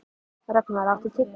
Rögnvar, áttu tyggjó?